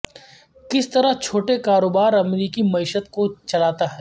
کس طرح چھوٹے کاروبار امریکی معیشت کو چلاتا ہے